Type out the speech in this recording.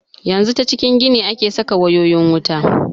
Yanzu ta cikin gini ake saka wayoyin wuta.